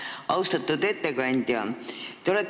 Austatud ettekandja!